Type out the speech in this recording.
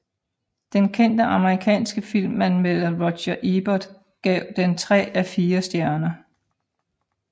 Den kendte amerikanske filmanmelder Roger Ebert gav den tre af fire stjerner